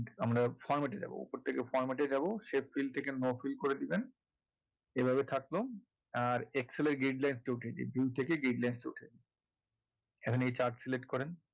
আমরা format এ যাবো ওপর থেকে format এ যাবো shape fill থেকে no fill করে দেবেন এভাবে থাকলো আর excel এর gridlines টা উঠিয়ে দিন view থেকে gridlines টা উঠিয়ে দিন এখন এই chart select করেন